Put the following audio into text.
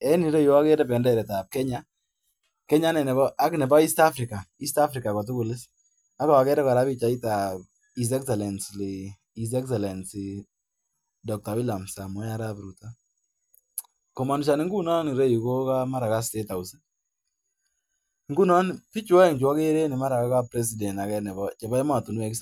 En agere benderet ap Kenya ak nebo East Africa. Agere pichait nepo How Excellency Dr. William Samoe Ruto komanishan reu ko mara statehouse . Piik che mi en pichaini ko mara ko kandoek ap ematinwek